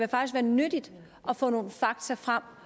være nyttigt at få nogle fakta frem